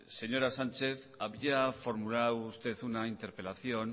señora sánchez había formulado usted una interpelación